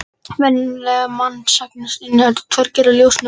Venjulegt mannsauga inniheldur tvær gerðir ljósnema: Keilur og stafi.